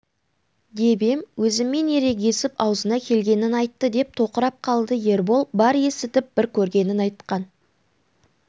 деп ем өзіммен ерегесіп аузына келгенін айтты деп тоқырап қалды ербол бар есітіп бар көргенін айтқан